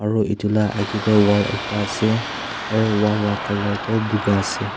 aru etu lah aage tu wall ekta ase aro wall lah colour tu boga ase.